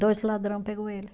Dois ladrão pegou ele.